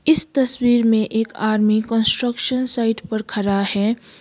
इस तस्वीर में एक आर्मी कंस्ट्रक्शन साइट पर खड़ा है।